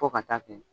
Fo ka taa kɛ